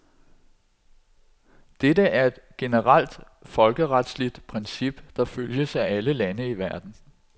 Dette er et generelt folkeretligt princip, der følges af alle lande i verden.